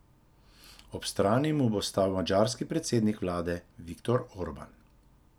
Ob strani mu bo stal madžarski predsednik vlade Viktor Orban.